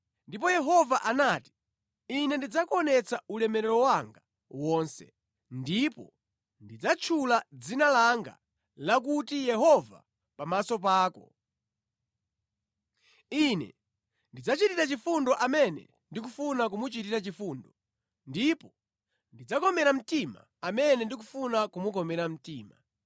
Ndipo Yehova anati, “Ine ndidzakuonetsa ulemerero wanga wonse ndipo ndidzatchula dzina langa lakuti Yehova pamaso pako. Ine ndidzachitira chifundo amene ndikufuna kumuchitira chifundo ndipo ndidzakomera mtima amene ndikufuna kumukomera mtima.”